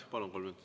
Jah, palun!